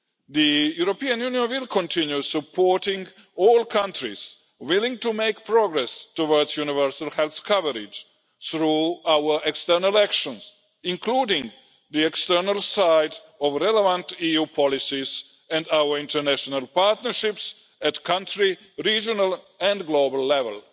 The European Union will continue supporting all countries willing to make progress towards universal health coverage through our external actions, including the external side of relevant EU policies and our international partnerships at country, regional and global level.